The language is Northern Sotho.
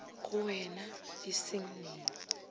go wean e seng neng